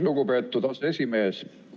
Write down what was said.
Lugupeetud aseesimees!